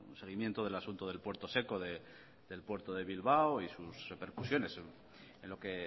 seguimiento del asunto del puerto seco del puerto de bilbao y sus repercusiones en lo que